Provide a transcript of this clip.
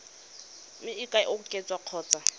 mme e ka oketswa kgotsa